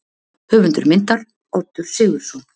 Höfundur myndar: Oddur Sigurðsson.